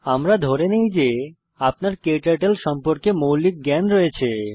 আমরা ধরে নেই যে আপনার ক্টার্টল সম্পর্কে মৌলিক জ্ঞান রয়েছে